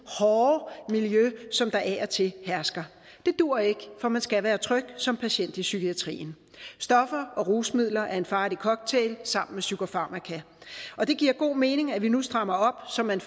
hårde miljø som der af og til hersker det duer ikke for man skal være tryg som patient i psykiatrien stoffer og rusmidler er en farlig cocktail sammen med psykofarmaka og det giver god mening at vi nu strammer op så man